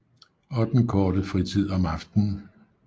Og den korte fritid om aftenen